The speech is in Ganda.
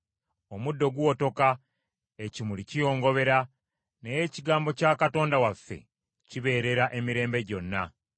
Omuddo guwotoka, ekimuli kiyongobera, naye ekigambo kya Katonda waffe kibeerera emirembe gyonna.”